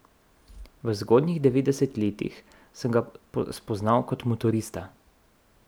V zgodnjih devetdesetih letih sem ga spoznal kot motorista.